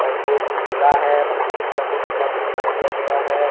और दो पुतला है उस पुतला को कपड़ा पहना दिया गया है।